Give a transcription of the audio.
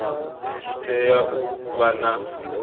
tshi tea u vha na